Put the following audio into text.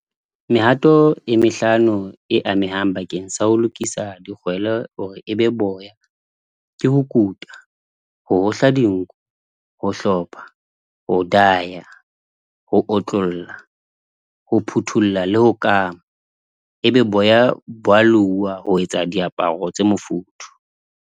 Mehato e mehlano e amehang bakeng sa ho lokisa dikgwele hore ebe boya. Ke ho kuta, ho hohla dinku, ho hlopha, ho diya, ho otlolla, ho phuthulla le ho kama. E be boya bo a louwa ho etsa diaparo tse mofuthu.